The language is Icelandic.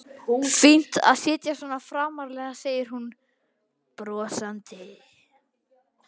Fínt að sitja svona framarlega, segir hún brosandi.